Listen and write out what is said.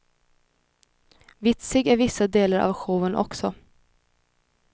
Vitsig är vissa delar av showen också.